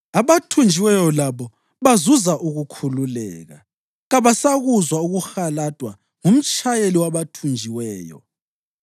Abathunjiweyo labo bazuza ukukhululeka; kabasakuzwa ukuhaladwa ngumtshayeli wabathunjiweyo.